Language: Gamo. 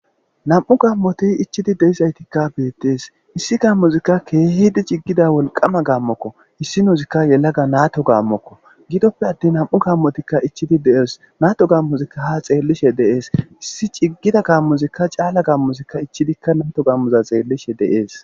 nam'u gammoti ichidi deizaytikka beettees issi gammuzikka keehidi ciggida wolqama gammokko issinozikka yelaga naato gaammokko gidoppe attin nam'u gammotikka ichidi deees naato gammuzikka ha xeellishe deees issi ciggida gaammuzikka caala gammuzikka ichidikka naato gammuza xeellishe dees.